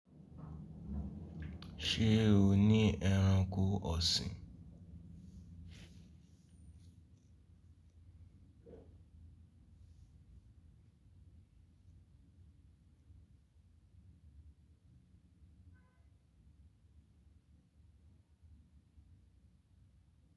Ṣé o ní ẹranko ọ̀sìn?